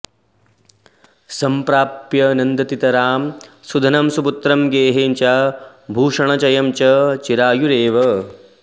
संप्राप्य नन्दतितरां सुधनं सुपुत्रं गेहं च भूषणचयं च चिरायुरेव